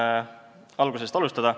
Katsun algusest alustada.